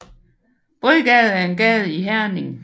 Bredgade er en gade i Herning